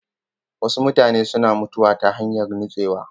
Wasu mutane suna mutuwa ta hanyar nutsewa.